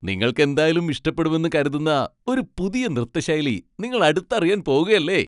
നിങ്ങൾക്കെന്തായാലും ഇഷ്ടപ്പെടുമെന്ന് കരുതുന്ന ഒരു പുതിയ നൃത്ത ശൈലി നിങ്ങൾ അടുത്തറിയാൻ പോകുകല്ലേ!